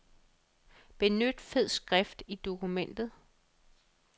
Benyt fed skrift i dokumentet.